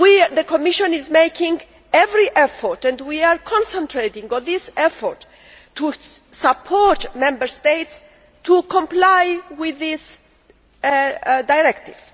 The Commission is making every effort, and we are concentrating on our efforts, to support Member States in complying with this directive.